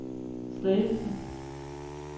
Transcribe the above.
Slagelse